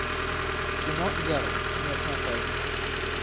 кино ярость смертная казнь